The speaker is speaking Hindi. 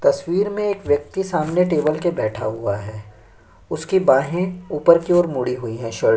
तस्वीर में एक व्यक्ति सामने टेबल पे बैठा हुआ है उसकी बाहैं ऊपर की ओर मुड़ी हुई है शर्ट --